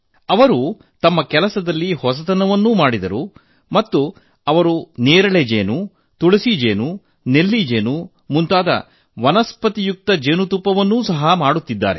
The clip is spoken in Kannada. ಅವರು ತಮ್ಮ ಕೃಷಿಯಲ್ಲಿ ಹೊಸತನ ಪರಿಚಯಿಸಿದರು ಮತ್ತು ಅವರು ನೇರಳೆ ಜೇನು ತುಳಸಿ ಜೇನು ನೆಲ್ಲಿ ಜೇನು ಮುಂತಾದ ವನಸ್ಪತಿಯುಕ್ತ ಜೇನುತುಪ್ಪಗಳನ್ನು ಸಹ ಮಾಡುತ್ತಿದ್ದಾರೆ